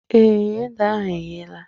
Èé, ede ahụ eghela